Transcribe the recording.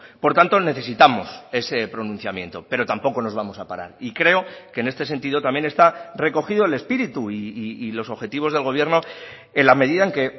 por tanto necesitamos ese pronunciamiento pero tampoco nos vamos a parar y creo que en este sentido también está recogido el espíritu y los objetivos del gobierno en la medida en que